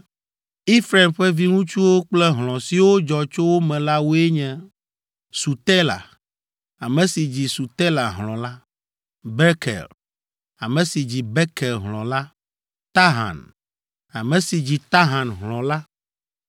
Efraim ƒe viŋutsuwo kple hlɔ̃ siwo dzɔ tso wo me la woe nye: Sutela, ame si dzi Sutela hlɔ̃ la, Beker, ame si dzi Beker hlɔ̃ la, Tahan, ame si dzi Tahan hlɔ̃ la.